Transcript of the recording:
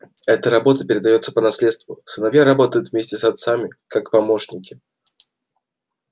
эта работа передаётся по наследству сыновья работают вместе с отцами как помощники